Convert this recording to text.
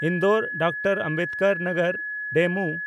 Indore Dr Ambedkar Nagar DEMU